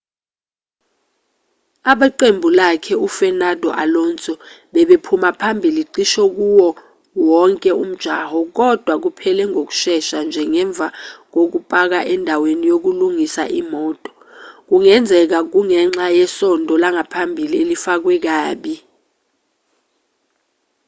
abeqembu lakhe u-fernando alonso bebephuma phambili cishe kuwoo wonke umjaho kodwa kuphele ngokushesha nje ngemva kokupaka endaweni yokulungisa imoto kungenzeka kungenxa yesondo langaphambili elifakwe kabi